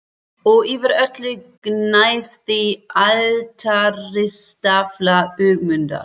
Og yfir öllu gnæfði altaristafla Ögmundar.